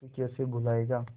तू कैसे भूलाएगा